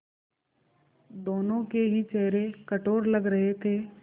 दोनों के ही चेहरे कठोर लग रहे थे